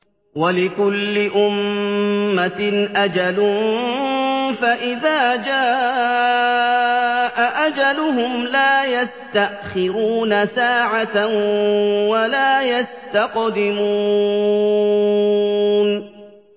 وَلِكُلِّ أُمَّةٍ أَجَلٌ ۖ فَإِذَا جَاءَ أَجَلُهُمْ لَا يَسْتَأْخِرُونَ سَاعَةً ۖ وَلَا يَسْتَقْدِمُونَ